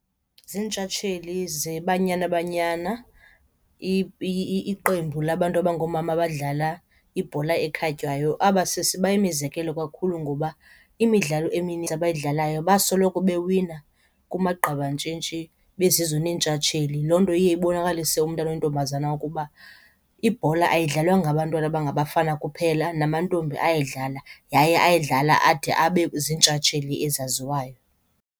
Ziintshantshali zeBanyana Banyana, iqembu labantu abangoomama badlala ibhola ekhatywayo. Aba sisi bayimizekelo kakhulu ngoba imidlalo emininzi abayidlalayo basoloko bewina kumagqabantshintshi bezizo neentshatsheli. Loo nto iye ibonakalise umntana oyintombazana ukuba ibhola ayidlalwa ngabantwana abangabafana kuphela namantombi ayayidlala yaye ayidlala ade abe ziintshatsheli ezaziwayo.